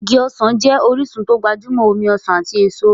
Igi ọsàn jẹ́ orísun tó gbajúmọ̀ omi ọsàn ati èso.